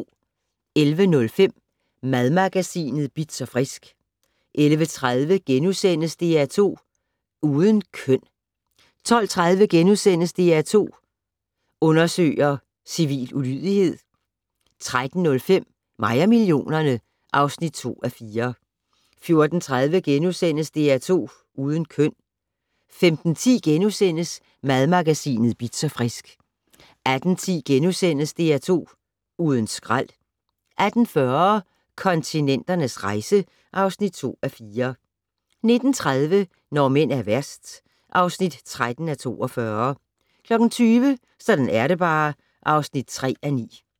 11:05: Madmagasinet Bitz & Frisk 11:30: DR2 Uden køn * 12:30: DR2 Undersøger: Civil ulydighed * 13:05: Mig og millionerne (2:4) 14:30: DR2 Uden køn * 15:10: Madmagasinet Bitz & Frisk * 18:10: DR2 Uden skrald * 18:40: Kontinenternes rejse (2:4) 19:30: Når mænd er værst (13:42) 20:00: Sådan er det bare (3:9)